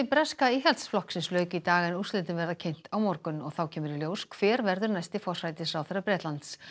breska Íhaldsflokksins lauk í dag en úrslitin verða kynnt á morgun og þá kemur í ljós hver verður næsti forsætisráðherra Bretlands